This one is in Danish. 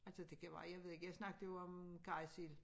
Altså det kan være jeg ved ikke jeg snakker jo om karrysild